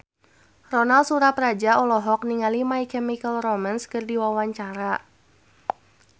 Ronal Surapradja olohok ningali My Chemical Romance keur diwawancara